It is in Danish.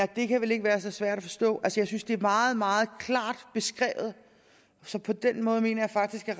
det kan være så svært at forstå jeg synes det er meget meget klart beskrevet så på den måde mener jeg faktisk at